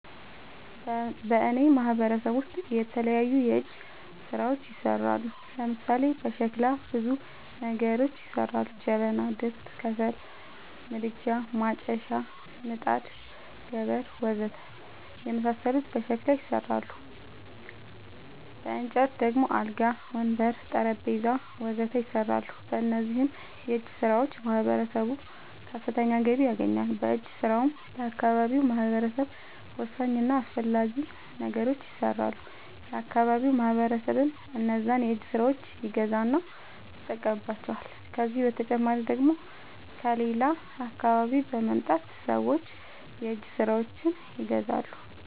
በእኔ ማህበረሰብ ውስጥ የተለያዩ የእጅ ስራዎች ይሠራሉ። ለምሳሌ፦ በሸክላ ብዙ ነገሮች ይሠራሉ። ጀበና፣ ድስት፣ ከሰል ምድጃ፣ ማጨሻ፣ ምጣድ፣ ገበር... ወዘተ የመሣሠሉት በሸክላ ይሠራሉ። በእንጨት ደግሞ አልጋ፣ ወንበር፣ ጠረንጴዛ..... ወዘተ ይሠራሉ። በእነዚህም የእጅስራዎች ማህበረሰቡ ከፍተኛ ገቢ ያገኛል። በእጅ ስራውም ለአካባቢው ማህበረሰብ ወሳኝ እና አስፈላጊ ነገሮች ይሠራሉ። የአካባቢው ማህበረሰብም እነዛን የእጅ ስራዎች ይገዛና ይጠቀምባቸዋል። ከዚህ በተጨማሪ ደግሞ ከሌላ አካባቢ በመምጣት ሠዎች የእጅ ስራዎቸችን ይገዛሉ።